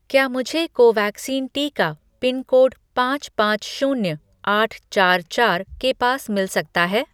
क्या मुझे कोवैक्सीन टीका पिनकोड पाँच पाँच शून्य आठ चार चार के पास मिल सकता है